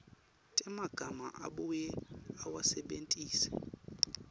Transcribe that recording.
temagama abuye awasebentise